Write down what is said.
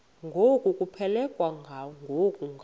ngokuphelekwa ngu apho